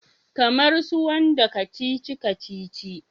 Kamar su wanda kacici-kacici?